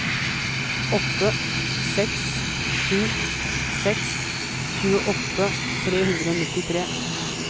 åtte seks sju seks tjueåtte tre hundre og nittitre